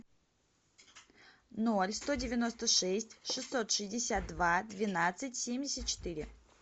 ноль сто девяносто шесть шестьсот шестьдесят два двенадцать семьдесят четыре